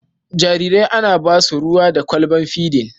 Jarirai ana ba su ruwa da kwalbar fidin.